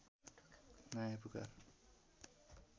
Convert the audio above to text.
नयाँ पुकार